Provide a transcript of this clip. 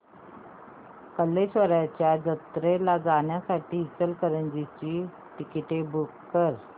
कल्लेश्वराच्या जत्रेला जाण्यासाठी इचलकरंजी ची तिकिटे बुक कर